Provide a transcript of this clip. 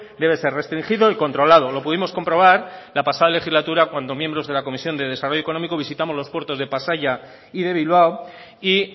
debe ser restringido y controlado lo pudimos comprobar la pasada legislatura cuando miembros de la comisión de desarrollo económico visitamos los puertos de pasaia y de bilbao y